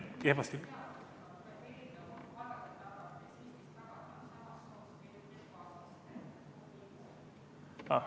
Kehvasti oli kuulda.